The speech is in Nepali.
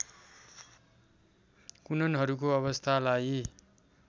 कुननहरूको अवस्थालाई